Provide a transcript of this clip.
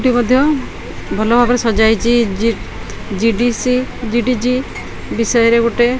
ଏଠି ମଧ୍ୟ ଭଲଭାବରେ ସଜ୍ଜା ହେଇଛି ଜି_ଡି_ସି ବି_ଡି_ଜି ବିଷୟରେ ଗୋଟେ।